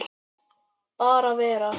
Bara vera.